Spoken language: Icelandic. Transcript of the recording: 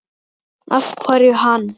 Af hverju hann?